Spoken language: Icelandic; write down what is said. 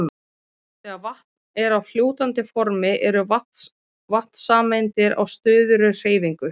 Þegar vatn er á fljótandi formi eru vatnssameindir á stöðugri hreyfingu.